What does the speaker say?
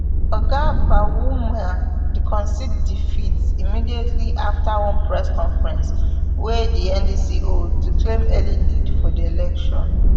oga bawumia concede defeat immediately afta one press conference wey di ndc hold to claim early lead for di election